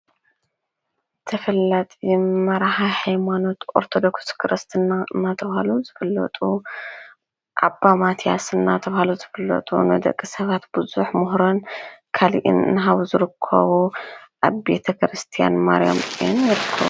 ተፈላጢ መራሒ ሃይማኖት ኦርተዶክስ ክርስትና እናተባሃሉ ዝፍለጡ ኣባ ማትያስ እናተባሃሉ ዝብለጡ ንደቀ ሰባት ብዙሕ ምህሮን ካሊኢን እናሃቡ ዝርኮቡ ኣብ ቤተ ክርስቲያን ማርያም ....